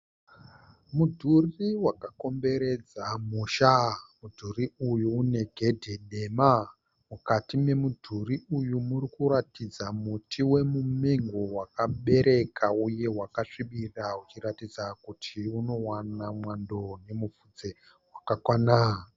Mudhuri waka komberedza musha. Mudhuri uyu une gedhe dema. Mukati memudhuri uyu muri kuratidza muti wemumengo wakabereka uye wakasvibira uchiratidza kuti unowana mwando nemufudze wakakwana.